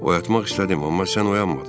Oyatmaq istədim, amma sən oyanmadın.